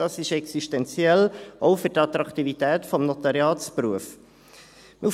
Das ist existenziell, auch für die Attraktivität des Notariatsberufs.